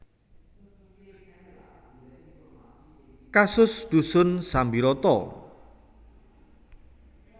Kasus Dusun Sambiroto